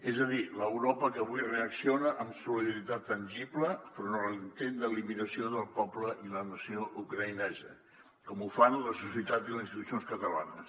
és a dir l’europa que avui reacciona amb solidaritat tangible enfront de l’intent d’eliminació del poble i la nació ucraï·nesa com ho fan la societat i les institucions catalanes